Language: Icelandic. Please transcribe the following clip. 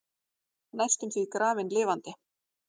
Næstum því grafin lifandi